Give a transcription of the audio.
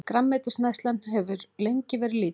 Grænmetisneyslan hefur lengi verið lítil.